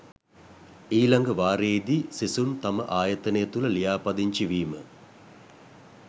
ඊළඟ වාරයේදී සිසුන් තම ආයතනය තුළ ලියාපදිංචි වීම